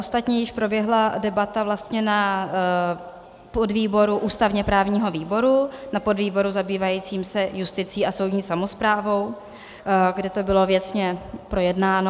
Ostatně již proběhla debata vlastně na podvýboru ústavně-právního výboru, na podvýboru zabývajícím se justicí a soudní samosprávou, kde to bylo věcně projednáno.